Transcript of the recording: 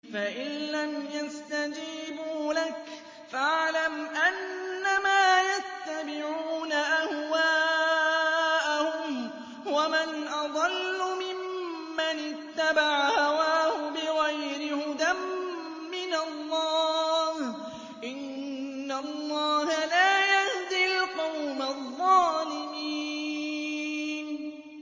فَإِن لَّمْ يَسْتَجِيبُوا لَكَ فَاعْلَمْ أَنَّمَا يَتَّبِعُونَ أَهْوَاءَهُمْ ۚ وَمَنْ أَضَلُّ مِمَّنِ اتَّبَعَ هَوَاهُ بِغَيْرِ هُدًى مِّنَ اللَّهِ ۚ إِنَّ اللَّهَ لَا يَهْدِي الْقَوْمَ الظَّالِمِينَ